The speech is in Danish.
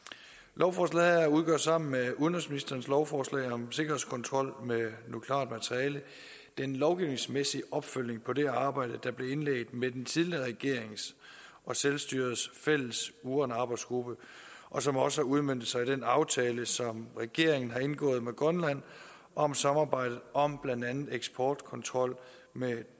lovforslaget her udgør sammen med udenrigsministerens lovforslag om sikkerhedskontrol med nukleart materiale den lovgivningsmæssige opfølgning på det arbejde der blev indledt med den tidligere regerings og selvstyrets fælles uranarbejdsgruppe og som også har udmøntet sig i den aftale som regeringen har indgået med grønland om samarbejdet om blandt andet eksportkontrol med